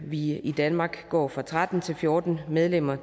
vi i i danmark går fra tretten til fjorten medlemmer